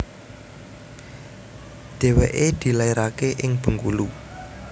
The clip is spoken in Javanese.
Dèwèké dilaeraké ing Bengkulu